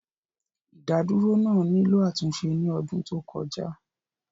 Ìdádúró náà nílò àtúnṣe ní ọdún tó kọjá